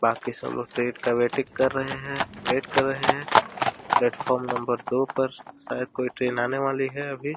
बाकी सब लोग ट्रेन का वेटिंग कर रहे हैं वेट कर रहे हैं। प्लेटफार्म नंबर दो पर शायद कोई ट्रेन आने वाली है अभी।